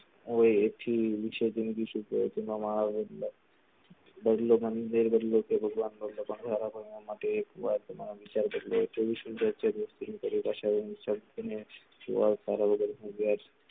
ઓયે actually વેર બદલો મારા માટે એક વાર વિચાર બદલો તારા વગર હું